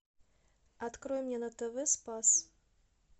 открой мне на тв спас